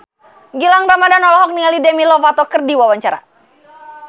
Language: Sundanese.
Gilang Ramadan olohok ningali Demi Lovato keur diwawancara